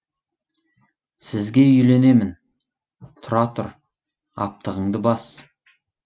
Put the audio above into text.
сізге үйленемін тұра тұр аптығыңды бас